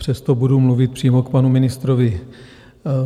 Přesto budu mluvit přímo k panu ministrovi.